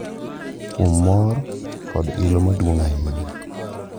Kuom mor kod ilo maduong’ ahinya ,